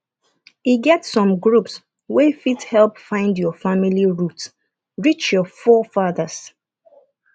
e get some groups wey fit help find your family root reach your forefathers